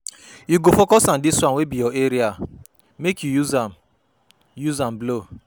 You go focus on dis one wey be your area make you use am you use am blow.